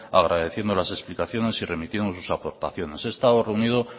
agradeciendo las explicaciones y remitimos sus aportaciones he estado reunido